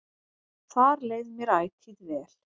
Þar leið mér ætíð vel.